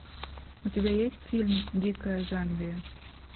у тебя есть фильм дикая замбия